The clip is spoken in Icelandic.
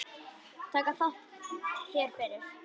Þakka þér fyrir!